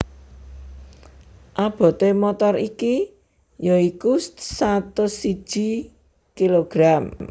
Abote motor iki ya iku satus siji kg